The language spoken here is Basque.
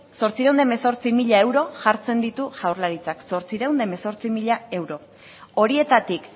zortziehun eta hemezortzi mila euro jartzen ditu jaurlaritzak zortziehun eta hemezortzi mila euro horietatik